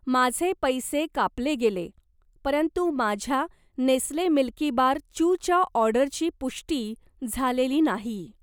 माझे पैसे कापले गेले, परंतु माझ्या नेस्ले मिल्कीबार चूच्या ऑर्डरची पुष्टी झालेली नाही.